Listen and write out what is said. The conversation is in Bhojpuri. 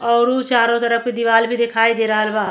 अउरु चारों तरफ के दिवाल भी दिखाई दे रहल बा।